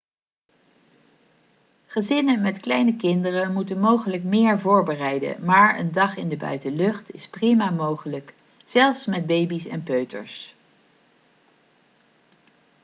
gezinnen met kleine kinderen moeten mogelijk meer voorbereiden maar een dag in de buitenlucht is prima mogelijk zelfs met baby's en peuters